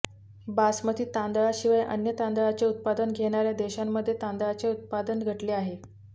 बासमती तांदळाशिवाय अन्य तांदळाचे उत्पादन घेणाऱ्या देशांमध्ये तांदळाचे उत्पादन घटले आहे